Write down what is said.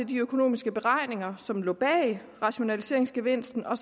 de økonomiske beregninger som lå bag rationaliseringsgevinsten og